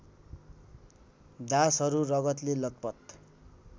दासहरू रगतले लतपत